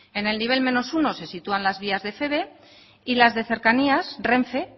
en el nivel uno si sitúan las vías de feve y las de cercanías renfe